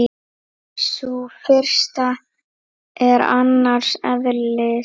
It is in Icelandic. Sú fyrsta er annars eðlis.